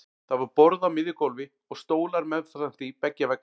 Það var borð á miðju gólfi og stólar meðfram því beggja vegna.